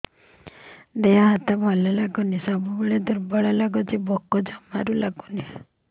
ଦେହ ହାତ ଭଲ ଲାଗୁନି ସବୁବେଳେ ଦୁର୍ବଳ ଲାଗୁଛି ଭୋକ ଜମାରୁ ଲାଗୁନି